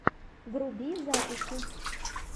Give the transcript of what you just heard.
вруби записи